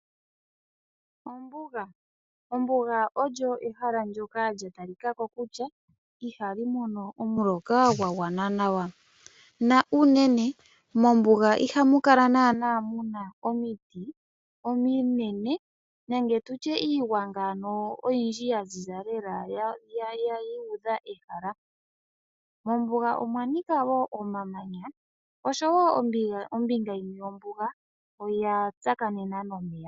Ombuga olyo ehala ndyoka ihaali mono omuloka gwagwana nawa. Mombuga ihamu kala naanaa muna omiti ominene nenge iigwanga yaziza lela yuudha ehala . Mombuga omwanika omamanya nosho wo ombinga yimwe yombuga oya tsakanena nomeya.